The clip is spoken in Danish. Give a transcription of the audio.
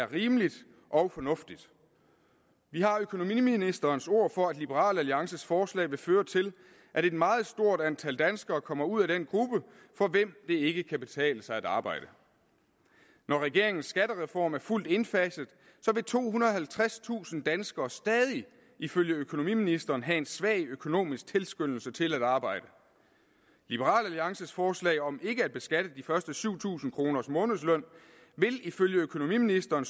rimeligt og fornuftigt vi har økonomiministerens ord for at liberal alliances forslag ville føre til at et meget stort antal danskere kom ud af den gruppe for hvem det ikke kan betale sig at arbejde når regeringens skattereform er fuldt indfaset vil tohundrede og halvtredstusind danskere stadig ifølge økonomiministeren have en svag økonomisk tilskyndelse til at arbejde liberal alliances forslag om ikke at beskatte de første syv tusind kroner af månedslønnen ville ifølge økonomiministeren